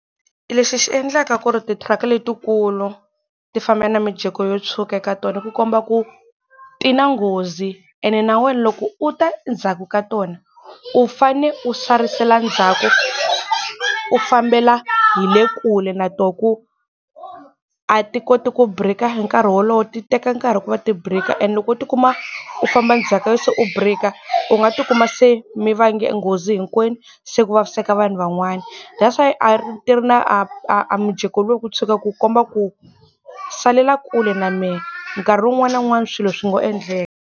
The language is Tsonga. Lexi xi endlaka ku ri ti thiraka letikulu ti famba na mijeko yo tshuka ka tona ku komba ku ti na nghozi ene na wena loko u ta ndzhaku ka tona u fane u sarisela ndzhaku u fambela hi le kule na toho ku a ti koti ku break-a hi nkarhi wolowo ti teka nkarhi ku va ti break-a and loko u ti kuma u famba ndzhaku se u break-a u nga ti kuma se mi vange nghozi hinkwenu se ku vaviseka vanhu van'wana. That's why a ti ri na a mijeko luwa ku tshuka ku komba ku salela kule na mehe nkarhi wun'wana na wun'wana swilo swi ngo endleka.